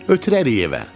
Ötürərik evə.